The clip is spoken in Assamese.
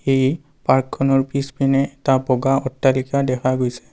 এই পাৰ্কখনৰ পিছপিনে এটা বগা অট্টালিকা দেখা গৈছে।